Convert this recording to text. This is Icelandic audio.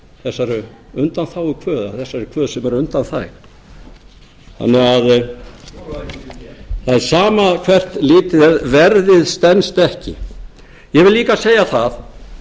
þessari undanþágukvöð eða þessari kvöð sem er undanþæg þannig að það er sama hvert litið er verðið stenst ekki ég vil líka segja það